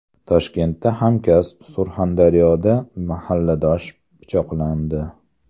Toshkentda hamkasb, Surxondaryoda mahalladosh pichoqlandi.